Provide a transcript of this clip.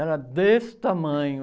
Era desse tamanho.